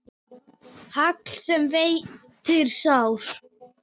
Hagl sem veitir sár.